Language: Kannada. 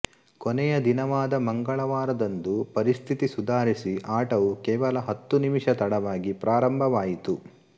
ಕೊನೆಯ ದಿನವಾದ ಮಂಗಳವಾರದಂದು ಪರಿಸ್ಥಿತಿ ಸುಧಾರಿಸಿ ಆಟವು ಕೇವಲ ಹತ್ತು ನಿಮಿಷ ತಡವಾಗಿ ಪ್ರಾರಂಭವಾಯಿತು